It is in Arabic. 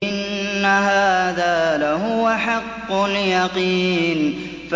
إِنَّ هَٰذَا لَهُوَ حَقُّ الْيَقِينِ